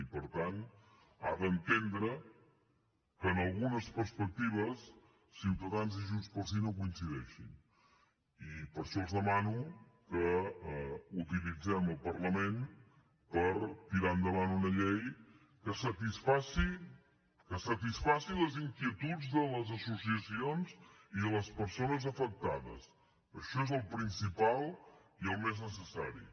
i per tant ha d’entendre que en algunes perspectives ciutadans i junts pel sí no coincideixin i per això els demano que utilitzem el parlament per tirar endavant una llei que satisfaci les inquietuds de les associacions i les persones afectades això és el principal i el més necessari